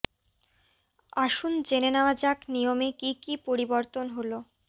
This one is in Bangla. আসুন জেনে নেওয়া যাক নিয়মে কী কী পরিবর্তন হল